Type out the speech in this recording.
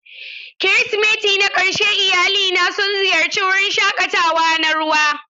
Kirsimati na ƙarshe iyalina sun ziyarci wurin shakatawa na ruwa.